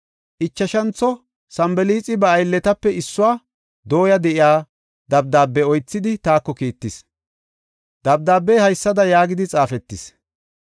Ichashantho Sanbalaaxi ba aylletape issuwa dooya de7iya dabdaabe oythidi taako kiittis. Dabdaabey haysada yaagidi xaafetis;